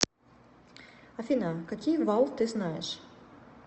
афина какие вал ты знаешь